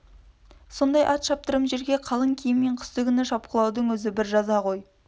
сондай ат шаптырым жерге қалың киіммен қыстыгүні шапқылаудың өзі бір жаза ғой